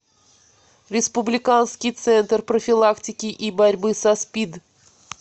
республиканский центр профилактики и борьбы со спид